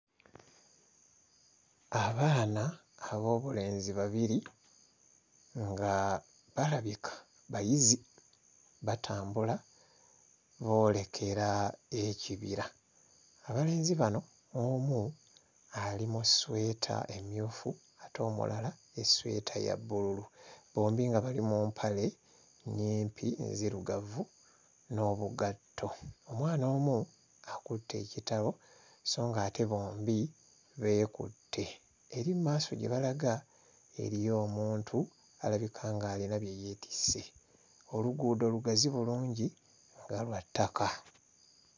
Abaana ab'obulenzi babiri nga balabika bayizi, batambula boolekera ekibira. Abalenzi abano omu ali mu ssweta emmyufu ate omulala essweta eya bbululu, bombi nga bali mu mpale nnyimpi nzirugavu n'obugatto. Omwana omu akutte ekitabo so ng'ate bombi beekutte. Eri mu maaso gye balaga eriyo omuntu alabika ng'alina bye yeetisse. Oluguudo lugazi bulungi nga lwa ttaka.